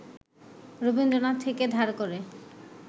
রবীন্দ্রনাথ থেকে ধার করে